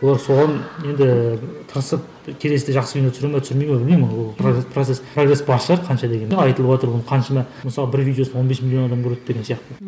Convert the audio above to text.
олар соған енді тырысып келесіде жақсы кино түсіре ме түсірмей ме білмеймін ол процесс прогресс бар шығар қанша дегенмен айтылыватыр ол қаншама мысалы бір видеосын он бес миллион адам көреді деген сияқты